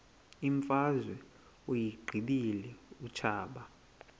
imfazwe uyiqibile utshaba